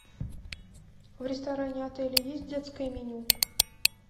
в ресторане отеля есть детское меню